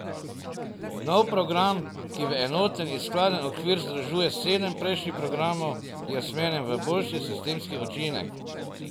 Nov program, ki v enoten in skladen okvir združuje sedem prejšnjih programov, je usmerjen v boljši sistemski učinek.